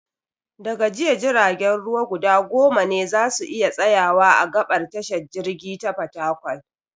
Da ga jiya, jiragen ruwa guda goma ne za su iya tsayawa a gaɓar tashar jirgi ta Fatakwal.